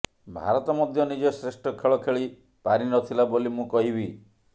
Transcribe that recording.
ଭାରତ ମଧ୍ୟ ନିଜ ଶ୍ରେଷ୍ଠ ଖେଳ ଖେଳି ପାରି ନଥିଲା ବୋଲି ମୁଁ କହିବି